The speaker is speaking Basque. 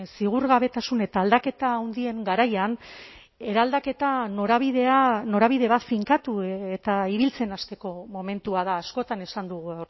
ziurgabetasun eta aldaketa handien garaian eraldaketa norabidea norabide bat finkatu eta ibiltzen hasteko momentua da askotan esan dugu